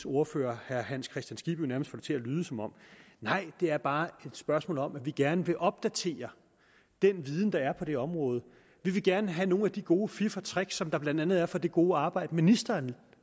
ordfører herre hans kristian skibby nærmest fik det til at lyde som om nej det er bare et spørgsmål om at vi gerne vil opdatere den viden der er på det område vi vil gerne have nogle af de gode fif og tricks som der blandt andet er fra det gode arbejde ministeren